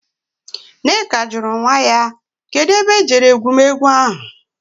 Nneka juru nwa ya. Kedu ebe e jere egwumegwu ahu?